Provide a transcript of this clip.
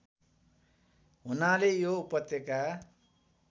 हुनाले यो उपत्यका